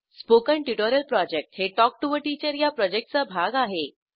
spoken tutorial project हे talk to teacher या प्रॉजेक्टचा भाग आहे